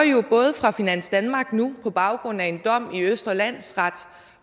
fra finans danmark på baggrund af en dom i østre landsret